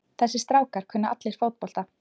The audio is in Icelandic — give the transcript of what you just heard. Þessir strákar kunna allir fótbolta.